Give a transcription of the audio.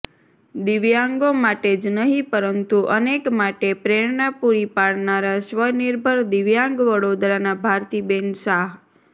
દિવ્યાંગો માટે જ નહિ પરંતુ અનેક માટે પ્રેરણા પૂરી પાડનારા સ્વનિર્ભર દિવ્યાંગ વડોદરાના ભારતીબેન શાહ